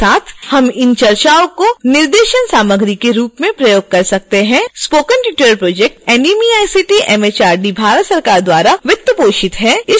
spoken tutorial project nmeict mhrd Bharat सरकार द्वारा वित्तपोषित है